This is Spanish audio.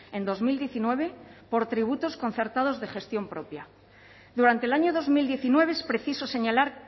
en dos mil diecinueve por tributos concertados de gestión propia durante el año dos mil diecinueve es preciso señalar